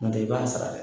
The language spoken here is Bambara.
N'o tɛ i b'a sara dɛ